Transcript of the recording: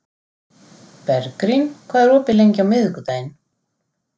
Bergrín, hvað er opið lengi á miðvikudaginn?